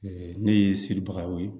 ne ye seli bagaw ye